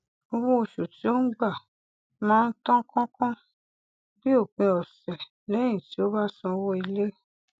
owó oṣù tí ó ń gba máa ń tàn kánkán bí òpin ọsẹ lẹyìn tí ó bá san owó ilé